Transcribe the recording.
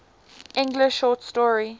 english short story